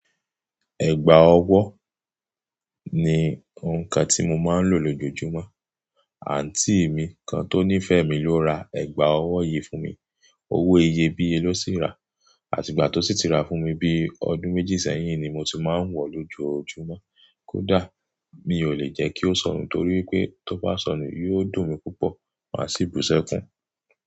Ẹ̀gbá ọwọ́ ni nǹkan tí mo máa ń lò lójoojúmọ́. Àntí mi kan tó nífẹ̀ẹ́ mi ló ra ẹ̀gbá ọwọ́ yìí fún mi. Owó iye bíye ló sì rà àti ìgbà tó sí ti rà fún mi bíi ọdún méjì sẹ́yìn ni mo ti máa ń wọ̀ lójoojúmọ́. Kódáà, mi ò lè jẹ́ kí ó sọnù torí pé tó bá sọnù yóò dùn mí púpọ̀, màá sì bú sẹ́kùn.